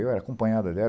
Eu acompanhado dela.